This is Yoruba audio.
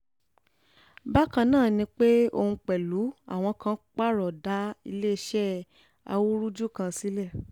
bákan náà ni pé òun pẹ̀lú àwọn kan parọ́ dá iléeṣẹ́ awúrúju kan sílẹ̀